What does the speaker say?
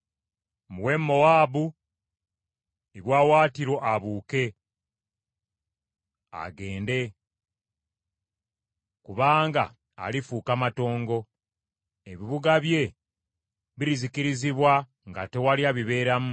Muwe Mowaabu ebiwaawaatiro abuuke agende kubanga alifuuka matongo, ebibuga bye birizikirizibwa, nga tewali abibeeramu.